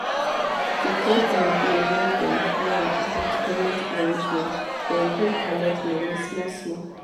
the company gree make dem yan about payment arrangement dem gree colet money small small